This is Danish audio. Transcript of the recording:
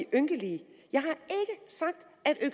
ynkelige jeg